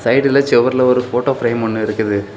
சைடுல செவுறுல ஒரு போட்டோ ஃப்ரேம் ஒன்னு இருக்குது.